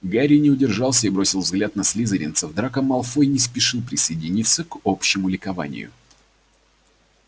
гарри не удержался и бросил взгляд на слизеринцев драко малфой не спешил присоединиться к общему ликованию